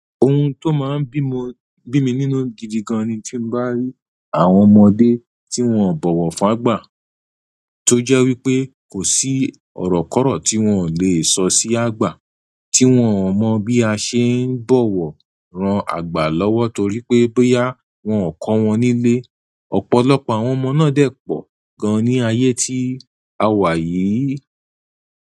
Ohun tó máa ń bí mo bí mi nínú gidi gan ni tí mo bá rí àwọn ọmọdé tí wón ń bọ̀wọ̀ fágbà tó jẹ́ wípé kò sí ọ̀rọ̀ kọ̀rọ̀ tí wón le è sọ sí àgbà, tí wón ò mọ̀ bí a ṣe ń bọ̀wọ̀ ran àgbà lọ́wọ́ torí pé bóyá wọn kọ wọn nílé. Ọ̀pọ̀lọpọ̀ àwọn ọmọ náà dèpọ̀ gan ní ayé tí a wà yìí.